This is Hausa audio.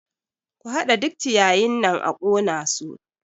Ku haɗa duk ciyayin nan a ƙona su!